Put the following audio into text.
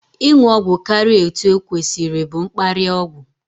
Ịṅụ ọgwụ karịa etu okwesiri bụ mkparịa ọgwụ